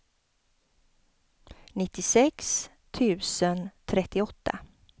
nittiosex tusen trettioåtta